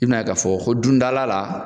I bɛn'a ye k'a fɔ dundala la